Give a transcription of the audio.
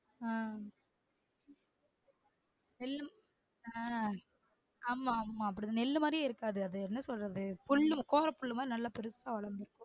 உம் நெல் அஹ் ஆமா ஆமா அப்படிதா நெல்லு மாறியே இருக்காது அது என்ன சொல்றது புல்லு கோரப்புல்லு மாதிரி நல்லா பெருசா வளர்ந்து இருக்கும்